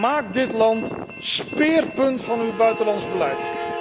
Maak dit land speerpunt van uw buitenlands beleid.